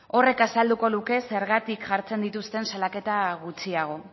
horrek azalduko luke zergatik jartzen dituzten salaketa gutxiago